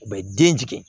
U bɛ den jigin